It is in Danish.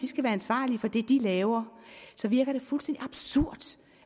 skal være ansvarlige for det de laver og så virker det fuldstændig absurd